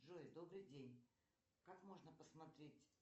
джой добрый день как можно посмотреть